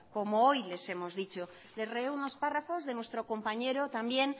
como hoy les hemos dicho os releo unos párrafos de nuestro compañero también